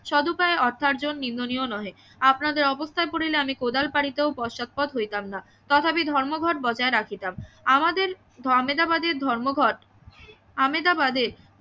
সৎ উপায়ে অর্থার্জন নিম্ননীয় নহে আপনাদের অবস্থায় পড়িলে আমি কোদাল পাড়িতেও পশ্চাদপদ হইতাম না তথাপি ধর্মঘট বজায় রাখিতাম আমাদের আমাদেবাদী ধর্মঘট আমেদাবাদের